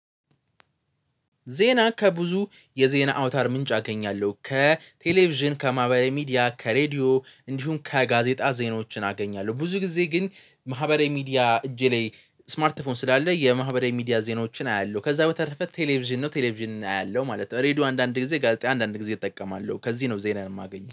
ዜና ከብዙ የዜና አውታር ምንጭ አገኛለሁ ከቴሌቪዥን፤ ከማህበራዊ ሚዲያ፤ ከሬዲዮ፤ እንዲሁም ከጋዜጣ፤ ዜናዎችን አገኛለሁ። ብዙ ጊዜ ግን ማህበራዊ ሚዲያ እጄ ላይ ስማርት ፎን ስላለ የማህበራዊ ሚዲያ ዜናዎችን አያለሁ ከዛ በተረፈ ቴሌቪዥን ነው ቴሌቪዥን አያለሁ ማለት ነው ሬድዮ አንዳንድ ጊዜ፤ ጋዜጣ አንዳንድ ጊዜ እጠቀማለሁ ከዚህ ነው ዜናን የማገኘው